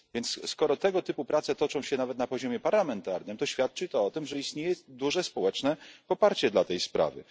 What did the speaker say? Więc skoro tego typu prace toczą się nawet na poziomie parlamentarnym, to świadczy to o tym, że istnieje duże społeczne poparcie dla tej sprawy.